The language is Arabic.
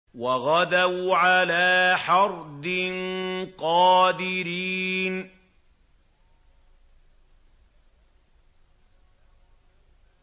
وَغَدَوْا عَلَىٰ حَرْدٍ قَادِرِينَ